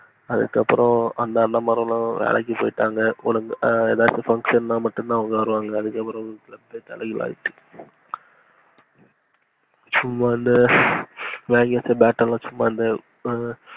அதுக்கு அப்புறம் அண்ணா மாறுங்கவேலைக்கு போய்ட்டாங்க. ஏதாச்சும் function னா மட்டும் தான் வருவாங்க. அதுக்கு அப்புறமா தலைகீழ ஆச்சு சும்மா இந்த வாங்கி வச்ச bat லாம்